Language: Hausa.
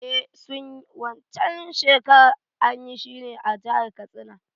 Eh suna yi, Wan can shekarar anyi shi ne a jahar Katsina